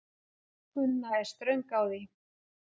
Gunna er ströng á því.